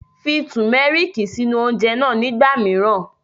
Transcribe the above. Fi Tùmẹ́rìkì sínú oúnjẹ náà nígbà míràn